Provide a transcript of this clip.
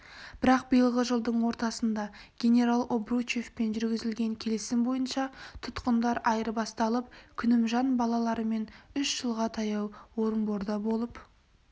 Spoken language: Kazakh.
бірақ биылғы жылдың ортасында генерал обручевпен жүргізілген келісім бойынша тұтқындар айырбасталып күнімжан балаларымен үш жылға таяу орынборда болып